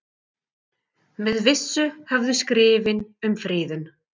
Með vissu höfðu skrifin um friðun